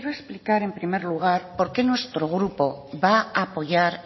explicar en primer lugar por qué nuestro grupo va a apoyar